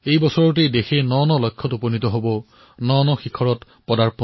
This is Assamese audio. এই বৰ্ষতেই দেশে নতুন লক্ষ্য প্ৰাপ্ত কৰিব নতুন উচ্চতালৈ গতি কৰিব